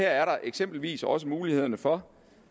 er der eksempelvis også mulighederne for